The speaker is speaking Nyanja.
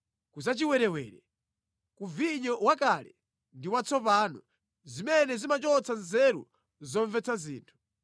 ku zachiwerewere, ku vinyo wakale ndi watsopano, zimene zimachotsa nzeru zomvetsa zinthu